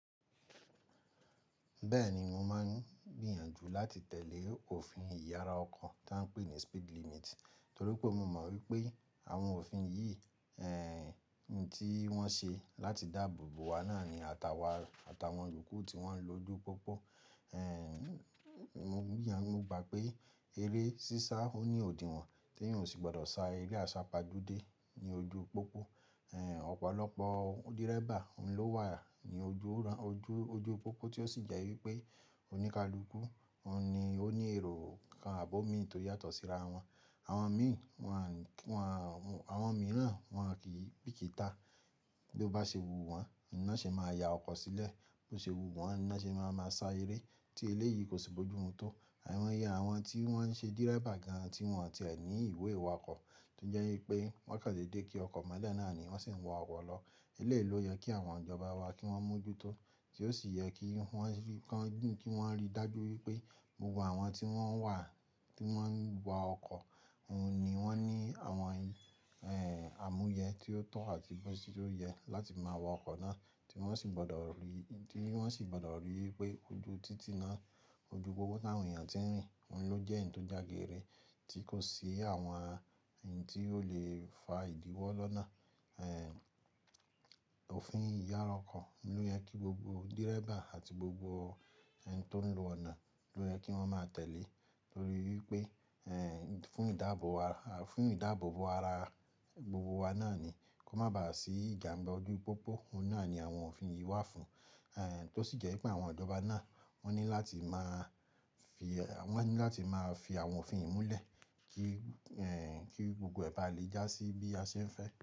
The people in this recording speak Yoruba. Bẹ́ẹ̀ni, mo máa ń gbìyànjú láti tẹ̀lé òfin ìyára ọkọ̀ tí a ń pè ní speed limit, torí pé mo mọ̀ wípé àwọn òfin yìí, tí wọ́n ṣe láti dáàbò bo wa náà ni àtàwà àtàwọn iyoku tí wọ́n ń lo ojú pópó. Mo gbìyàn mo gbà pé eré sísá ó ní òdinwọ̀n tí eeyan ò sì gbọ́dọ̀ sá eré àsápajúdé ní ojú pópó. Ọ̀pọ̀lọpọ̀ driver ló wà ní ojú ojú ojú pópó tí ó sì jẹ́ wípé oníkálukú, òun ni ó ní èrò kan àbò mi tó yàtọ̀ síra wọn. Awon mii Àwọn mìíràn wọn kì í bìkítà bí ó bá ṣe wu wọ́n, ná ṣe máa ya ọkọ̀ sílẹ̀, bí ó ṣe wu wọ́n, ná ṣe máa máa sá eré tí eléyìí kò sì bójú mú tó. Àìmoyẹ àwọn tí wọ́n ń ṣe driver gan-an tí wọ́n ti ẹ ní ìwé ìwakọ̀ tó jẹ́ wípé wọ́n kàn dedé kí ọkọ̀ mọ́lẹ̀ náà ni wọ́n sì ń wa ọkọ̀ lọ. Eléyìí ló yẹ kí àwọn ìjọba wa kí wọ́n mójú tó, tí ó sì yẹ kí wọ́n rí dájú wípé gbogbo àwọn tí wọ́n wà, tí wọ́n ń wa ọkọ̀, òun ni wọ́n ní àwọn, àmúyẹ tí ó tọ́ àti bó tí ó yẹ láti máa wa ọkọ̀ náà tí wọ́n sì gbọ́dọ̀ rí wípé ojú títí náà ojú pópó táwọn èèyàn tí ń rìn, òhun ló jẹ́ ẹ̀yí tó jagere tí kò sí àwọn ohun tí ó lè fa ìdíwọ́ lọ́nà. Òfin ìyára ọkọ̀ ló yẹ kí gbogbo driver àti gbogbo ẹni tó ń lo ọ̀nà ló yẹ kí wọ́n máa tẹ̀lé torí wípé, fún ìdáàbò bo ara gbogbo wa náà ni, kó má bàá sí ìjàmbá ojú pópó, ohun náà ni àwọn òfin yìí wà fún. Tó sì jẹ́ wípé àwọn ìjọba náà wọ́n ní láti máa fi àwọn òfin yìí múlẹ̀ kí, kí gbogbo ẹba lè já sí bí a ṣe ń fẹ́.